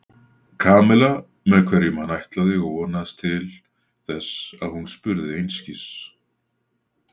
Kamillu með hverjum hann ætlaði og vonaðist til þess að hún spurði einskis.